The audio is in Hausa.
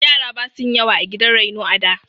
Yara basu yin yawa a gidan raino a da.